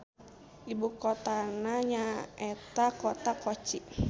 Ibukotana nyaeta Kota Kochi.